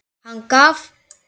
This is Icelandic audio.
Hann gaf